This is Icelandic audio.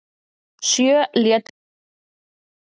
Sjö létust í sprengingu